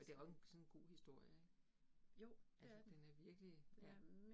Altså det jo også en sådan en god historie ik, altså den er virkelig ja